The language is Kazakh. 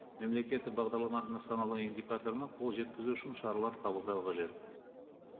мемлекеттік бағдарламар нысаналы индикаторына қол жеткізу үшін шаралар қабылдау қажет